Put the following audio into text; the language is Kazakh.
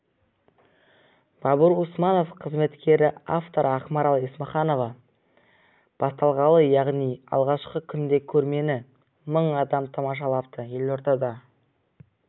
бабур усманов қызметкері авторы ақмарал есімханова басталғалы яғни алғашқы күнде көрмені мың адам тамашалапты елордада